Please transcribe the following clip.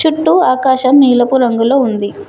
చుట్టూ ఆకాశం నీలపు రంగులొ ఉంది.